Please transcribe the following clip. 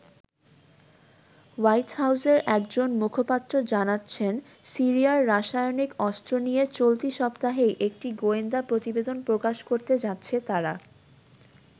White হাউজের একজন মুখপাত্র জানাচ্ছেন সিরিয়ার রাসায়নিক অস্ত্র নিয়ে চলতি সপ্তাহেই একটি গোয়েন্দা প্রতিবেদন প্রকাশ করতে যাচ্ছে তারা।